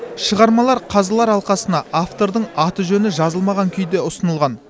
шығармалар қазылар алқасына автордың аты жөні жазылмаған күйде ұсынылған